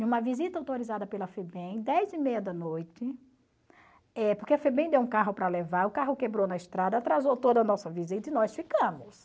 Em uma visita autorizada pela FEBEM, dez e meia da noite, eh porque a FEBEM deu um carro para levar, o carro quebrou na estrada, atrasou toda a nossa visita e nós ficamos.